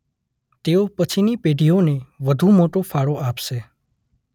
તેઓ પછીની પેઢીઓને વધુ મોટો ફાળો આપશે.